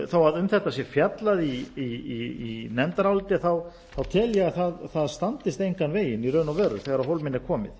þó að um þetta sé fjallað í nefndaráliti tel ég að það standist engan veginn í raun og veru þegar á hólminn er komið